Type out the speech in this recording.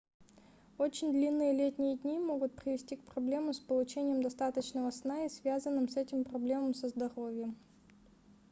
очень длинные летние дни могут привести к проблемам с получением достаточного сна и связанным с этим проблемам со здоровьем